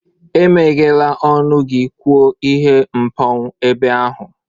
Emeghela ọnụ gị kwuo ihe mpou ebe ahụ!